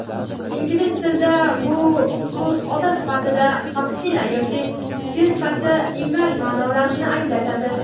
Ingliz tilida bu so‘z ot sifatida "vaksina" yoki fe’l sifatida "emlash" ma’nolarini anglatadi.